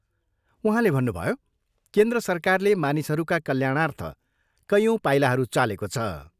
उहाँले भन्नुभयो, केन्द्र सरकारले मानिसहरूका कल्याणार्थ कैयौँ पाइलाहरू चालेको छ।